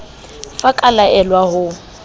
f a ka laelwa ho